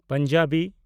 Punjabi